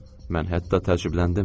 Mən hətta təəccübləndim.